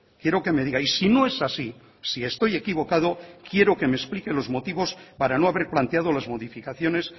quiero que me diga y si no es así si estoy equivocado quiero que me explique los motivos para no haber planteado las modificaciones